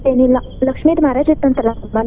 ಏನಿಲ್ಲಾ ಲಕ್ಷ್ಮೀದ್ marriage ಇತ್ತಂತ್ತಲ್ಲಾ.